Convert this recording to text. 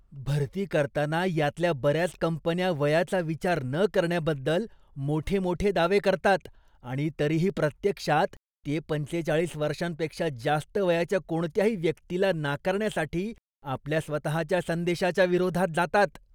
भरती करताना यातल्या बर्याच कंपन्या वयाचा विचार न करण्याबद्दल मोठमोठे दावे करतात आणि तरीही प्रत्यक्षात, ते पंचेचाळीस वर्षांपेक्षा जास्त वयाच्या कोणत्याही व्यक्तीला नाकारण्यासाठी आपल्या स्वतहाच्या संदेशाच्या विरोधात जातात.